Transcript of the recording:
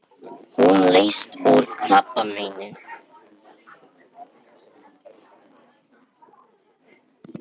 Hún lést úr krabbameini.